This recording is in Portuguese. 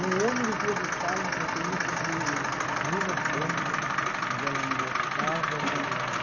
o ônibus ia buscar um motorista de luvas brancas, mas ela não gostava de nada.